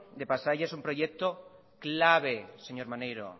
de pasaia es un proyecto clave señor maneiro